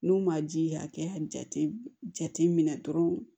N'u ma ji hakɛ min minɛ dɔrɔn